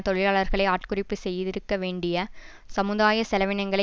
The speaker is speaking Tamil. தொழிலாளர்களை ஆட்குறைப்பு செய்திருக்க வேண்டிய சமுதாய செலவினங்களை